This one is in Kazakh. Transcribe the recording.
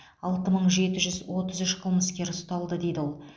алты мың жеті жүз отыз үш қылмыскер ұсталды дейді ол